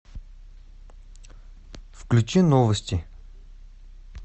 включи новости